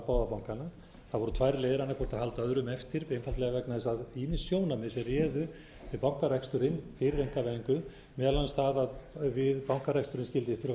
tvær leiðir annað hvort að halda öðrum eftir einfaldlega vegna þess að ýmis sjónarmið sem réðu við bankareksturinn einkavæðingu meðal annars það að við bankareksturinn skyldi þurfa að